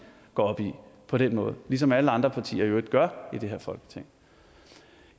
går op i på den måde ligesom alle andre partier i øvrigt gør i det her folketing